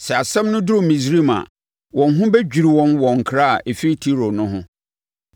Sɛ asɛm no duru Misraim a, wɔn ho bɛdwiri wɔn wɔ nkra a ɛfiri Tiro no ho.